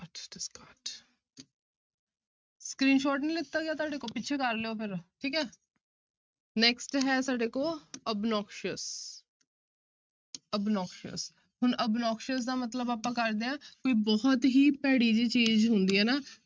Screenshot ਨੀ ਲਿੱਤਾ ਗਿਆ ਤੁਹਾਡੇ ਕੋਲ ਪਿੱਛੇ ਕਰ ਲਇਓ ਫਿਰ ਠੀਕ ਹੈ next ਹੈ ਸਾਡੇ ਕੋਲ obnoxious obnoxious ਹੁਣ obnoxious ਦਾ ਮਤਲਬ ਆਪਾਂ ਕਰਦੇ ਹਾਂ ਕੋਈ ਬਹੁਤ ਹੀ ਭੈੜੀ ਜਿਹੀ ਚੀਜ਼ ਹੁੰਦੀ ਹੈ ਨਾ